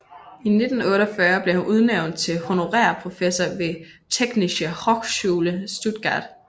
I 1948 blev han udnævnt til honorær professor ved Technische Hochschule Stuttgart